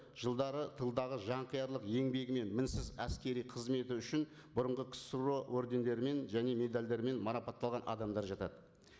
жылдары тылдағы жан қиярлық еңбегі мен мінсіз әскери қызметі үшін бүрынғы қсро ордендерімен және медальдармен марапатталған адамдар жатады